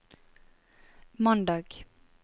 mandag